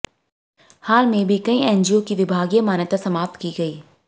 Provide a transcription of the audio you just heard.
हाल में भी कई एनजीओ की विभागीय मान्यता समाप्त की गई